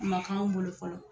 O ma k'an bolo fɔlɔ.